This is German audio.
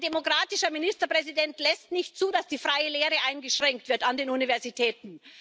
Ein demokratischer Ministerpräsident lässt nicht zu, dass die freie Lehre eingeschränkt wird an den Universitäten.